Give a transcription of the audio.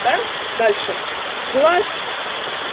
да дальше глаз